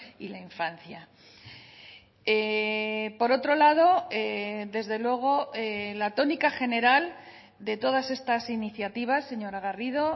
y la infancia por otro lado desde luego la tónica general de todas estas iniciativas señora garrido